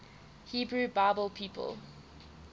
hebrew bible people